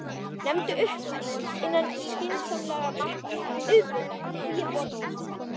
Nefndu upphæð, innan skynsamlegra marka auðvitað, og ég borga.